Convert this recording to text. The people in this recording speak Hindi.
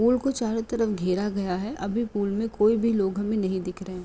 पूल को चारो तरफ घेरा गया है। अभी पूल में कोई भी लोग हमें नहीं दिख रहे।